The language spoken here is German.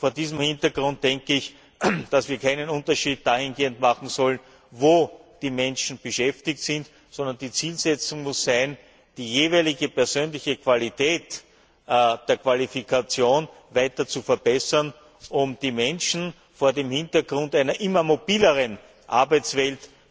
Vor diesem Hintergrund denke ich, dass wir keinen Unterschied dahingehend machen sollen, wo die Menschen beschäftigt sind, sondern die Zielsetzung muss sein, die jeweilige persönliche Qualität der Qualifikation weiter zu verbessern, um die Menschen vor dem Hintergrund einer immer mobileren Arbeitswelt